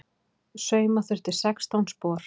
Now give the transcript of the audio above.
Sauma þurfti sextán spor.